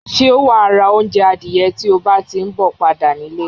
Sé wa ra ounje adìye ti o bá ti n bo padà nílé